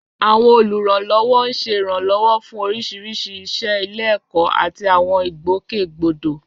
Àwọn olùrànlọ́wọ́ ń ṣe ìrànlọ́wọ́ fún oríṣiríṣi iṣẹ́ ilé-ẹ̀kọ́ àti àwọn ìgbòkègbodò.